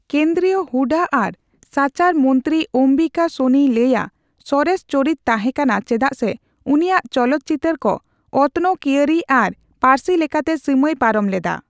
ᱠᱮᱱᱫᱨᱤᱭᱚ ᱦᱩᱸᱰᱟᱹ ᱟᱨ ᱥᱟᱪᱟᱨ ᱢᱚᱱᱛᱤᱨᱤ ᱚᱢᱵᱤᱠᱟ ᱥᱳᱱᱤᱭ ᱞᱟᱹᱭᱟ, ᱥᱚᱨᱮᱥ ᱪᱚᱨᱤᱛ ᱛᱟᱸᱦᱮ ᱠᱟᱱᱟ ᱪᱮᱫᱟᱜ ᱥᱮ ᱩᱱᱤᱭᱟᱜ ᱪᱚᱞᱚᱛ ᱪᱤᱛᱟᱹᱨ ᱠᱚ ᱚᱛᱱᱚᱼᱠᱤᱭᱟᱹᱨᱤ ᱟᱨ ᱯᱟᱹᱨᱥᱤ ᱞᱮᱠᱟᱛᱮ ᱥᱤᱢᱟᱹᱭ ᱯᱟᱨᱚᱢ ᱞᱮᱫᱟ ᱾